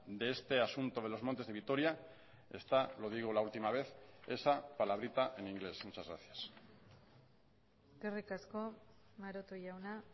de este asunto de los montes de vitoria está lo digo la última vez esa palabrita en inglés muchas gracias eskerrik asko maroto jauna